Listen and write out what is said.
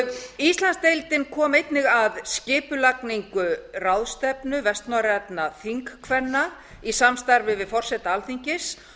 ottawa íslandsdeildin kom einnig að skipulagningu ráðstefnu vestnorrænna þingkvenna í samstarfi við forseta alþingis